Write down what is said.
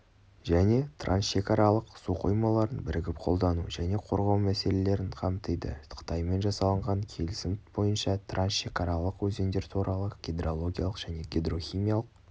және трансшекаралық су қоймаларын бірігіп қолдану және қорғау мәселелерін қамтиды қытаймен жасалынған келісім бойынша трансшекаралық өзендер туралы гидрологиялық және гидрохимиялық